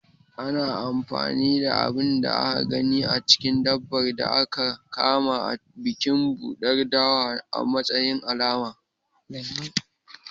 Ana anfani da abin da aka gani a cikin dabbar da aka kama a bikin ɓuɗar dawa a matsayin alama.